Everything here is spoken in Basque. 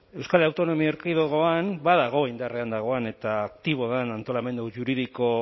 euskal autonomia erkidegoan badago indarrean dagoen eta aktiboa den antolamendu juridiko